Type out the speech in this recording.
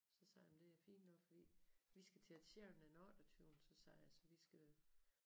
Så sagde jeg jamen det fint nok fordi vi skal til Ed Sheeran den otteogtyvende så sagde jeg så vi skal